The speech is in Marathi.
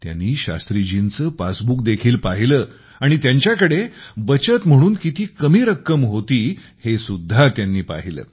त्यांनी शास्त्रीजींचे पासबुक देखील पाहिले आणि त्यांच्याकडे बचत म्हणून किती कमी रक्कम होती हे सुद्धा त्यांनी पाहिले